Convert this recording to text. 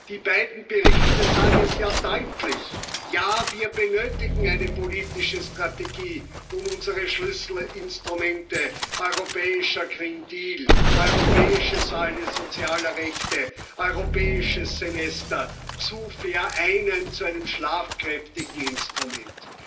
Die beiden Berichte sagen es ja deutlich Ja, wir benötigen eine politische Strategie, um unsere Schlüsselinstrumente europäischer Green Deal, europäische Säule sozialer Rechte, Europäisches Semester zu vereinen zu einem schlagkräftigen Instrument.